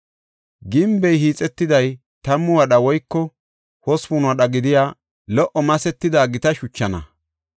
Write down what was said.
Gimbey hiixetiday tammu wadha woyko hospun wadha gidiya lo77o masetida gita shuchana.